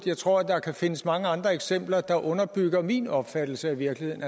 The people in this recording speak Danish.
jeg tror at der kan findes mange andre eksempler der underbygger min opfattelse af virkeligheden